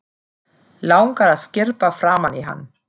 Langar að skyrpa framan í hann.